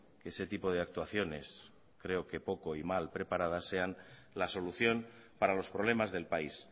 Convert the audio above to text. que ese tipo de actuaciones creo que poco y mal preparadas sean la solución para los problemas del país